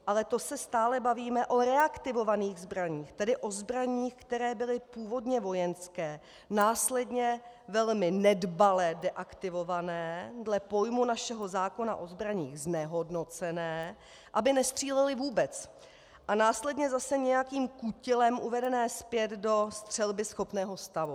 Ale to se stále bavíme o reaktivovaných zbraních, tedy o zbraních, které byly původně vojenské, následně velmi nedbale deaktivované, dle pojmu našeho zákona o zbraních znehodnocené, aby nestřílely vůbec, a následně zase nějakým kutilem uvedené zpět do střelbyschopného stavu.